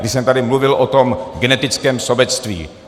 Když jsem tady mluvil o tom genetickém sobectví.